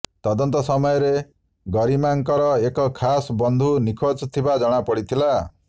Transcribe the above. ତଦନ୍ତ ସମୟରେ ଗରିମାଙ୍କର ଏକ ଖାସ୍ ବନ୍ଧୁ ନିଖୋଜ ଥିବା ଜଣା ପଡ଼ିଥିଲା